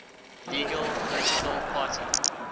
legal political party